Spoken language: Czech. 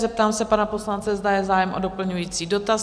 Zeptám se pana poslance, zda je zájem o doplňující dotaz?